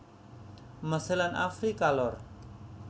Mesir lan Afrika Lor